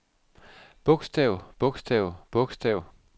bogstav bogstav bogstav